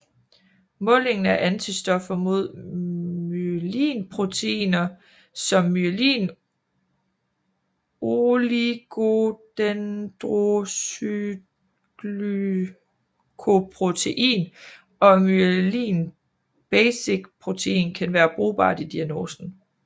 Målingen af antistoffer mod myelinproteiner som myelin oligodendrocytglycoprotein og myelin basic protein kan være brugbart i diagnosen